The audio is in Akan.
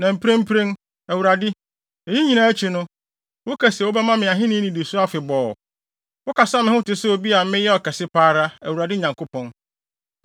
Na mprempren, Awurade, eyi nyinaa akyi no, woka se wobɛma me ahenni nnidiso afebɔɔ. Wokasa me ho te sɛ obi a meyɛ ɔkɛse pa ara, Awurade Nyankopɔn!